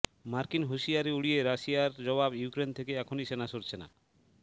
মার্কিন হুঁশিয়ারি উড়িয়ে রাশিয়ার জবাব ইউক্রেন থেকে এখনই সেনা সরছে না